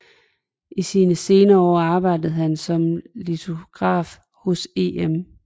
I sine senere år arbejdede han som litograf hos Em